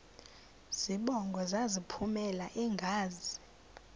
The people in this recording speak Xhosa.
zibongo zazlphllmela engazi